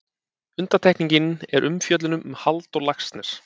Undantekning er umfjöllun um Halldór Laxness.